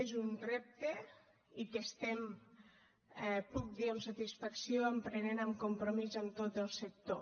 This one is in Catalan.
és un repte que ho puc dir amb satisfacció emprenem amb compromís amb tot el sector